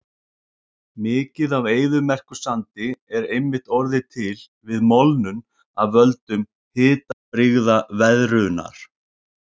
Mikið af eyðimerkursandi er einmitt orðið til við molnun af völdum hitabrigðaveðrunar.